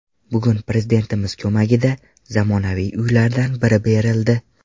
Bugun Prezidentimiz ko‘magida zamonaviy uylardan biri berildi.